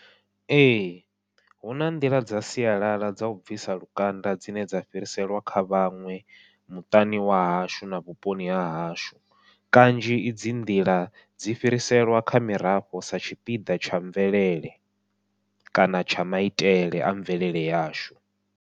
Ee huna nḓila dza sialala dzau bvisa lukanda dzine dza fhiriselwa kha vhaṅwe muṱani wa hashu na vhuponi hahashu, kanzhi idzi nḓila dzi fhiriselwa kha mirafho sa tshipiḓa tsha mvelele, kana tsha maitele a mvelele yashu.